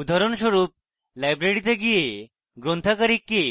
উদাহরণস্বরূপ library গিয়ে গ্রন্থাগারিককে